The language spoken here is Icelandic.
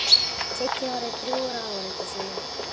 Siggi horfði drjúgur á áheyrendur sína.